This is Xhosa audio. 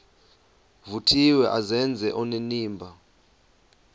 vuthiwe azenze onenimba